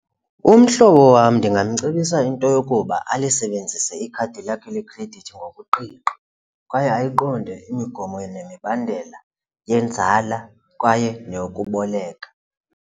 Umhlobo wam ndingamcebisa into yokuba alisebenzise ikhadi lakhe lekhredithi ngokuqiqa kwaye ayiqonde imigomo nemibandela yenzala kwaye neyokuboleka.